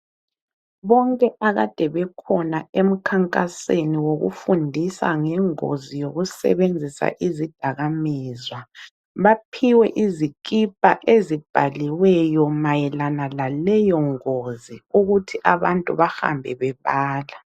Bonke akade bekhona emkhankaseni wokufundisa ngengozi yokusebenzisa izidakamizwa baphiwe izikipa ezibhaliweyo mayelana laleyo ngozi ukuthi abantu bahambe bebala.